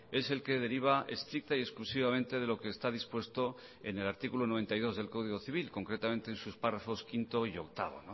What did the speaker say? es el que deriva estricta y exclusivamente de lo que está dispuesto en el artículo noventa y dos del código civil concretamente en sus párrafos quinto y octavo